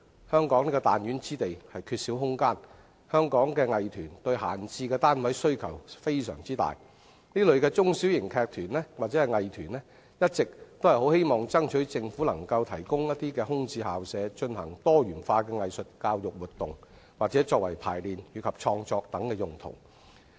香港是彈丸之地，缺少空間，香港藝團對閒置單位需求非常大，中小型劇團或藝團一直希望爭取政府能提供空置校舍，進行多元化的藝術教育活動或作為排練與創作等用途。